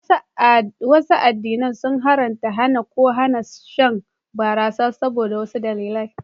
Wasu addinai sun haramta, hana, ko hana shan barasa saboda wasu dalilai